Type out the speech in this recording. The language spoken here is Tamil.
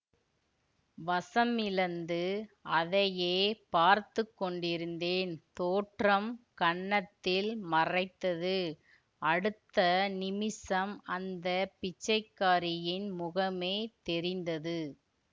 வசமிழந்து அதையே பார்த்து கொண்டிருந்தேன் தோற்றம் கண்ணத்தில் மறைத்தது அடுத்த நிமிஷம் அந்த பிச்சைக்காரியின் முகமே தெரிந்தது